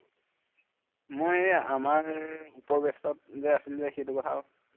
মই এৰ আমাৰ উপৰ batch ত যে আছিল যে সেইটো কথা আৰু